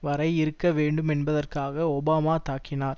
வரை இருக்க வேண்டும் என்பதற்காக ஒபாமா தாக்கினார்